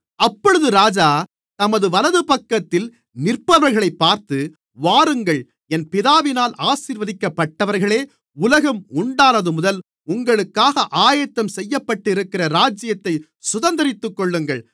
அப்பொழுது ராஜா தமது வலதுபக்கத்தில் நிற்பவர்களைப் பார்த்து வாருங்கள் என் பிதாவினால் ஆசீர்வதிக்கப்பட்டவர்களே உலகம் உண்டானதுமுதல் உங்களுக்காக ஆயத்தம் செய்யப்பட்டிருக்கிற ராஜ்யத்தைச் சுதந்தரித்துக்கொள்ளுங்கள்